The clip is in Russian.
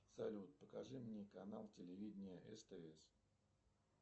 салют покажи мне канал телевидения стс